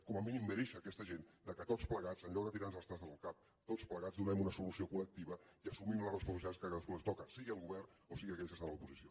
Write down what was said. com a mínim mereix aquesta gent que tots plegats en lloc de tirar nos els trastos al cap donem una solució col·lectiva i assumim les responsabilitats que a cadascú li toquen sigui el govern o sigui aquells que estan a l’oposició